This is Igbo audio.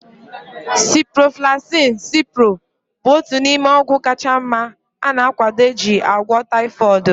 Ciproflaxin (Cipro) bụ otu n'ime ọgwụ kacha mma ana akwado eji agwọ taifọdụ